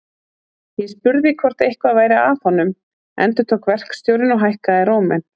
Ég spurði hvort eitthvað væri að honum endurtók verkstjórinn og hækkaði róminn.